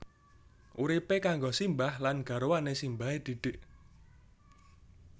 Uripe karo simbah lan garwane simbahe Didik